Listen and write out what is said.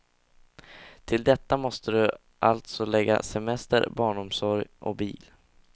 Till detta måste du alltså lägga semester, barnomsorg och bil.